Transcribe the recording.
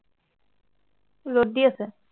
ৰদ দি আছে